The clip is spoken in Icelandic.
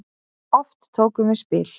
Oft tókum við spil.